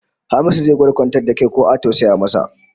Hamisu zai gwada kwantar da kai ko a tausaya masa